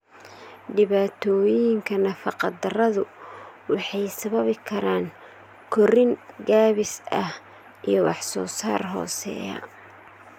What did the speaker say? Dhibaatooyinka nafaqa-darradu waxay sababi karaan korriin gaabis ah iyo wax-soo-saar hooseeya.